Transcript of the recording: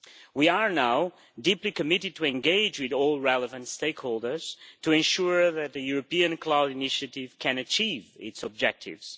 We are now deeply committed to engaging with all relevant stakeholders to ensure that the European Cloud Initiative can achieve its objectives.